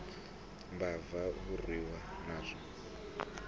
mbava a u orwi narina